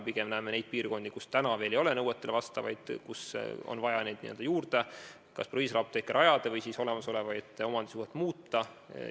Pigem näeme neid piirkondi, kus täna veel nõuetele vastavaid apteeke ei ole ning kus on vaja proviisorapteeke kas juurde rajada või siis olemasolevat omandisuhet muuta.